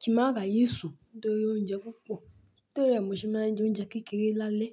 kí máa ráyè sùn torí oúnjẹ púpọ̀. Torí rẹ mo ṣe máa ń jẹ oúnjẹ kékeré lálẹ́